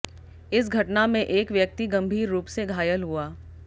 इस घटना में एक व्यक्ति गंभीर रुप से घायल हुआ